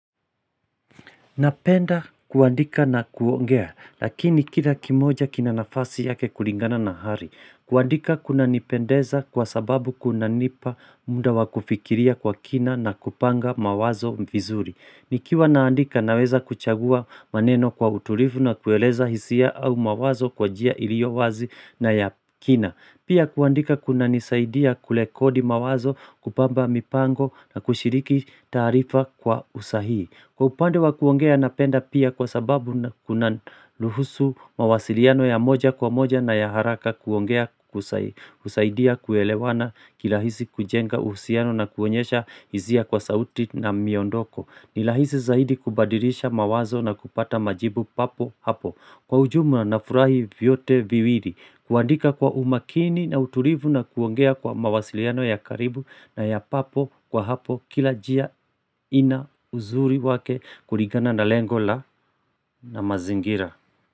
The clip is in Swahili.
Napenda kuandika na kuongea, lakini kila kimoja kina nafasi yake kulingana na hari. Kuandika kuna nipendeza kwa sababu kuna nipa muda wakufikiria kwa kina na kupanga mawazo vizuri. Nikiwa naandika naweza kuchagua maneno kwa utulivu na kueleza hisia au mawazo kwa jia iliowazi na ya kina. Pia kuandika kuna nisaidia kule kodi mawazo kupamba mipango na kushiriki taarifa kwa usahihi. Kwa upande wa kuongea napenda pia kwa sababu na kuna luhusu mawasiliano ya moja kwa moja na ya haraka kuongea kusaidia kuelewana kirahisi kujenga uhusiano na kuonyesha hisia kwa sauti na miondoko Nirahisi zaidi kubadirisha mawazo na kupata majibu papo hapo Kwa ujumla na nafurahi vyote viwili, kuandika kwa umakini na utulivu na kuongea kwa mawasiliano ya karibu na ya papo kwa hapo kila jia ina uzuri wake kuligana na lengola na mazingira.